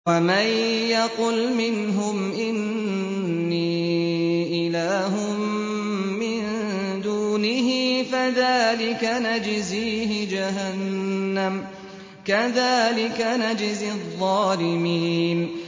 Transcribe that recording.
۞ وَمَن يَقُلْ مِنْهُمْ إِنِّي إِلَٰهٌ مِّن دُونِهِ فَذَٰلِكَ نَجْزِيهِ جَهَنَّمَ ۚ كَذَٰلِكَ نَجْزِي الظَّالِمِينَ